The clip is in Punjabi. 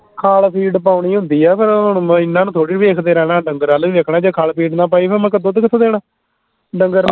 ਖੱਲ ਫੀਡ ਪਾਉਣੀ ਹੁੰਦੀ ਆ ਫੇਰ ਹੁਣ ਇਹਨਾਂ ਨੂੰ ਥੋੜੀ ਵੇਖਦੇ ਰਹਿਣਾ ਢੰਗਰਾਂ ਨੂੰ ਹੀ ਵੇਖਣੇ ਜੇ ਖੱਲ ਫੀਡ ਨਾ ਪਾਈ ਫੇਰ ਮੱਖ ਦੁੱਧ ਕਿਥੋਂ ਦੇਣਾ ਡੰਗਰ ਨੇ